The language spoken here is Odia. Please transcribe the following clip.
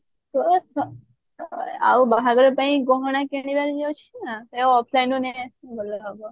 ସ ଆଉ ବାହାଘର ପାଇଁ ଗହଣା କିଣିବାର ଯଉ ଅଛି ନା ସେଇଟା offline ରୁ ନେଇଆସିବ ଭଲ ହବ